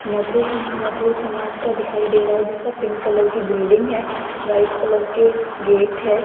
मधुर-मधुर समाज का दिखाई दे रहा है जिसका पिंक कलर की बिल्डिंग है वाइट कलर के गेट है।